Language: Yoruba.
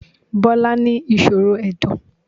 Bọ́lá ní ìṣòro Ẹ̀dọ̀.